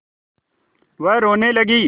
वह रोने लगी